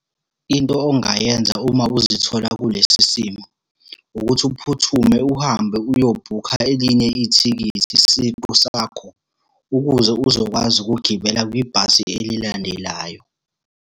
Into ongayenza uma uzithola kulesi simo, ukuthi uphuthume uhambe uyobhukha elinye ithikithi siqu sakho, ukuze uzokwazi ukugibela kwibhasi elilandelayo.